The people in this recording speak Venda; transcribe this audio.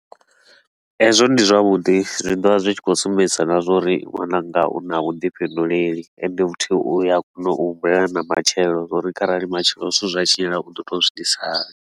Hezwo ndi zwavhuḓi, zwi ḓo vha zwi tshi khou sumbedzisa na zwa uri nwananga u na vhuḓifhinduleli, ende futhi u a kona u humbulela na matshelo, zwa uri kharali matshelo zwithu zwa tshinyala u ḓo tou zwi itisa hani.